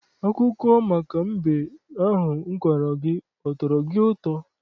Akụkọ maka mbe ahụ m kọọrọ gị, ọ tọrọ gị ụtọ?